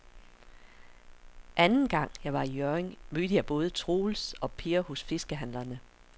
Anden gang jeg var i Hjørring, mødte jeg både Troels og Per hos fiskehandlerne.